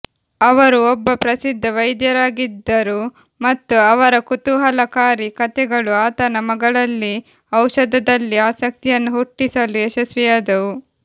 ಅವರು ಒಬ್ಬ ಪ್ರಸಿದ್ಧ ವೈದ್ಯರಾಗಿದ್ದರು ಮತ್ತು ಅವರ ಕುತೂಹಲಕಾರಿ ಕಥೆಗಳು ಆತನ ಮಗಳಲ್ಲಿ ಔಷಧದಲ್ಲಿ ಆಸಕ್ತಿಯನ್ನು ಹುಟ್ಟಿಸಲು ಯಶಸ್ವಿಯಾದವು